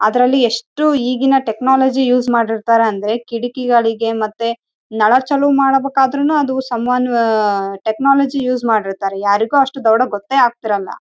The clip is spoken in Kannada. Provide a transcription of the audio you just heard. ಅದರಲ್ಲಿ ಎಷ್ಟು ಈಗಿನ ಟೆಕ್ನಾಲಜಿ ಯೂಸ್ ಮಾಡಿರ್ತಾರೆ ಅಂದರೆ ಕಿಟಕಿಗಳಿಗೆ ನೆಲ ಚಲೋ ಮಾಡಬೇಕಾದ್ರು ಸಂ ಒನ್ ಟೆಕ್ನಾಲಜಿ ಯೂಸ್ ಮಾಡಿರ್ತಾರೆ ಯಾರಿಗೂ ಗೊತ್ತೇ ಆಗಲ್ಲ--